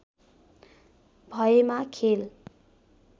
भएमा खेल